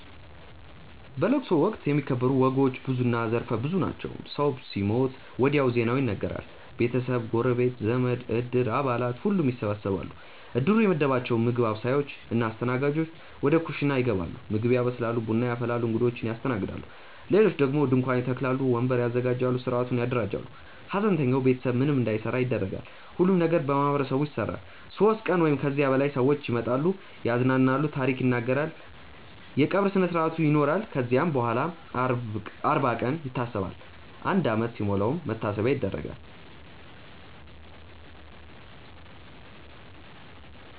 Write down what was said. በለቅሶ ወቅት የሚከበሩ ወጎች ብዙና ዘርፈ ብዙ ናቸው። ሰው ሲሞት ወዲያው ዜናው ይነገራል። ቤተሰብ፣ ጎረቤት፣ ዘመድ፣ እድር አባላት ሁሉም ይሰበሰባሉ። እድሩ የመደባቸው ምግብ አብሳዮች እና አስተናጋጆች ወደ ኩሽና ይገባሉ ምግብ ያበስላሉ፣ ቡና ያፈላሉ፣ እንግዶችን ያስተናግዳሉ። ሌሎች ደግሞ ድንኳን ይተክላሉ፣ ወንበር ያዘጋጃሉ፣ ሥርዓቱን ያደራጃሉ። ሐዘንተኛው ቤተሰብ ምንም እንዳይሠራ ይደረጋል። ሁሉም ነገር በማህበረሰቡ ይሰራል። ሦስት ቀን ወይም ከዚያ በላይ ሰዎች ይመጣሉ፣ ያዝናሉ፣ ታሪክ ይናገራሉ። የቀብር ስነስርአት ይኖራል ከዚያም በኋላም አርባ ቀን ይታሰባል፣ አንድ ዓመት ሲሞላም መታሰቢያ ይደረጋል።